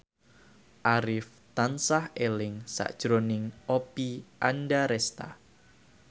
Arif tansah eling sakjroning Oppie Andaresta